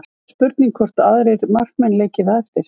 Spurning hvort að aðrir markmenn leiki það eftir?